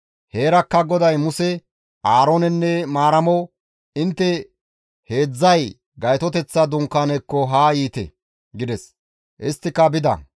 Heerakka GODAY Muse, Aaroonenne Maaramo, «Intte heedzdzay Gaytoteththa dunkaanekko haa yiite!» gides; isttika bida.